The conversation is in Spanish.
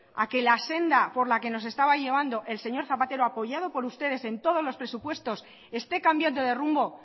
a que la senda por la que nos estaba llevando el señor zapatero apoyado por todos ustedes en todos los presupuestos esté cambiando de rumbo